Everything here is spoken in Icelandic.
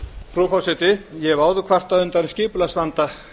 frú forseti ég hef áður kvartað undan skipulagsvanda